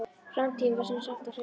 Framtíðin var sem sagt á hreinu.